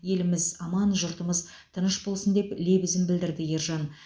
еліміз аман жұртымыз тыныш болсын деп лебізін білдірді ержан